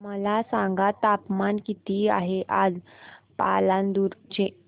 मला सांगा तापमान किती आहे आज पालांदूर चे